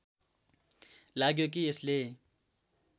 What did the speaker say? लाग्यो कि यसले